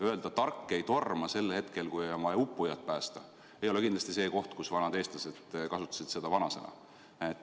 Öelda, et tark ei torma, sel hetkel, kui on vaja uppujat päästa – see ei ole kindlasti koht, kus vanad eestlased kasutasid seda vanasõna.